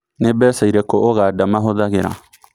ni mbeca ĩrĩkũ Uganda mahũthagĩra